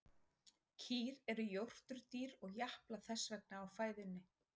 Kýr eru jórturdýr og japla þess vegna á fæðunni.